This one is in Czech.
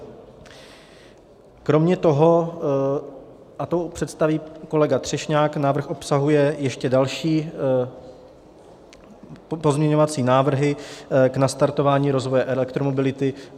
Kromě toho, a to představí kolega Třešňák, návrh obsahuje ještě další pozměňovací návrhy k nastartování rozvoje elektromobility.